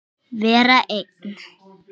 Vera einn?